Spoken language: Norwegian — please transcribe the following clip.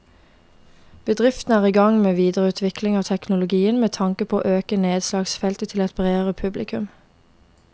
Bedriften er i gang med videreutvikling av teknologien med tanke på å øke nedslagsfeltet til et bredere publikum.